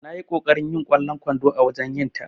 Nayi ƙoƙarin yin kwallon kwando a wajen yinta.